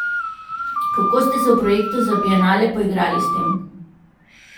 Kako ste se v projektu za bienale poigrali s tem?